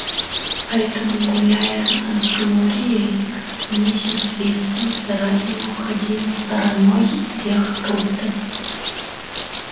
поэтому гуляя а с глорией миссис вестон старательно обходила стороной всех роботов